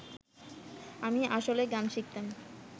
আমি আসলে গান শিখতাম